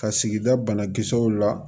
Ka sigida banakisɛw la